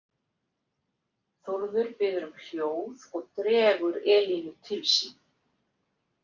Þórður biður um hljóð og dregur Elínu til sín.